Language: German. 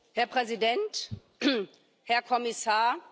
Herr Präsident, Herr Kommissar!